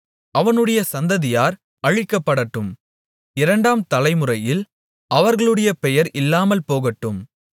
அவனுடைய சந்ததியார் அழிக்கப்படட்டும் இரண்டாம் தலைமுறையில் அவர்களுடைய பெயர் இல்லாமல் போகட்டும்